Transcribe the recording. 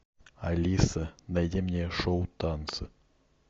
алиса найди мне шоу танцы